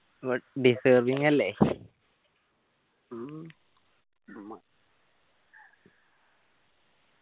but deserving അല്ലെ